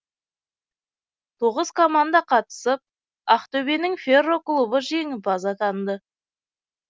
тоғыз команда қатысып ақтөбенің ферро клубы жеңімпаз атанды